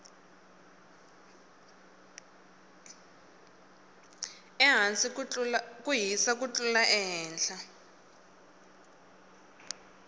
ehasi ku hisa ku tlula ehehla